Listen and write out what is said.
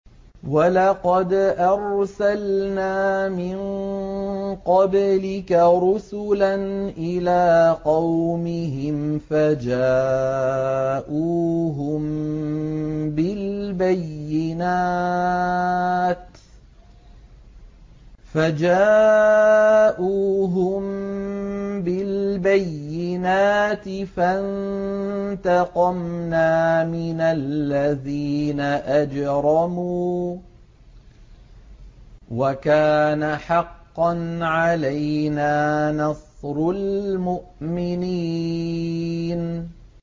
وَلَقَدْ أَرْسَلْنَا مِن قَبْلِكَ رُسُلًا إِلَىٰ قَوْمِهِمْ فَجَاءُوهُم بِالْبَيِّنَاتِ فَانتَقَمْنَا مِنَ الَّذِينَ أَجْرَمُوا ۖ وَكَانَ حَقًّا عَلَيْنَا نَصْرُ الْمُؤْمِنِينَ